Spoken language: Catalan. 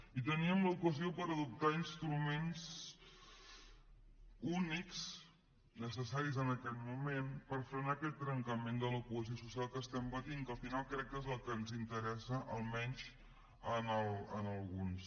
i teníem l’ocasió per adoptar instruments únics necessaris en aquest moment per frenar aquest trencament de la cohesió social que estem patint que al final crec que és el que ens interessa almenys a alguns